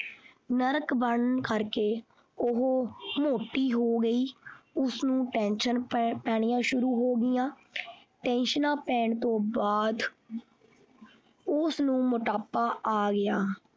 ਨਰਕ ਬਣਨ ਕਰਕੇ ਉਹ ਮੋਤੀ ਹੋ ਗਈ ਉਸਨੂੰ tension ਪੈਣੀਆਂ ਸ਼ੁਰੂ ਹੋ ਗਈਆਂ ਟੈਂਸ਼ਨਾਂ ਪੈਣ ਤੋਂ ਬਾਅਦ ਉਸਨੂੰ ਮੋਟਾਪਾ ਆ ਗਿਆ।